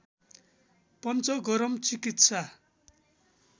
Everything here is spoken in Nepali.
पंचगरम चिकित्सा